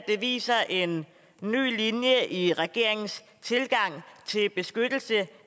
viser en ny linje i regeringens tilgang til beskyttelse